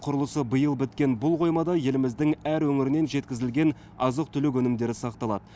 құрылысы биыл біткен бұл қоймада еліміздің әр өңірінен жеткізілген азық түлік өнімдері сақталады